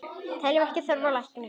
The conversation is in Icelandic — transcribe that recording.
Teljum ekki þörf á lækni!